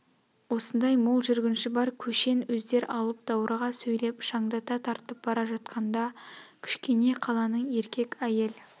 осындай мол жүргінші бар көшен өздер алып даурыға сөйлеп шаңдата тартып бара жатқанда кішкене қаланың еркек-әйел